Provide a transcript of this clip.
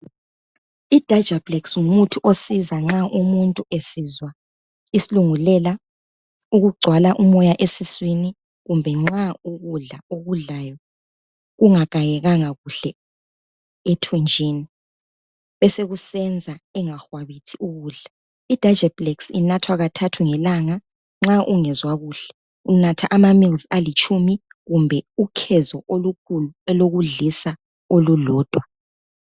Idajapulekisi ngumuthi osiza nxa umuntu esizwa isilungulela, ukugcwala umoya esiswini kumbe nxa ukudla okudlayo kungagayekanga kuhle ethunjini esekusenza ingakwabithi ukudla. Idajapulekisi inathwa kathathu ngelanga nxa ungezwa kuhle. Unatha amamills alitshumi kumbe ukhezo olukhulu olokudlisa olulodwa.